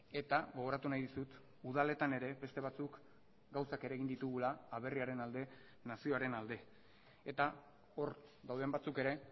eta gogoratu nahi dizut udaletan ere beste batzuk gauzak ere egin ditugula aberriaren alde nazioaren alde eta hor dauden batzuk ere